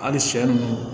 Hali sɛ nunnu